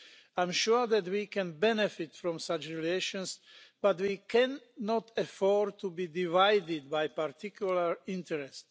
I am sure that we can benefit from such relations, but we cannot afford to be divided by a particular interest.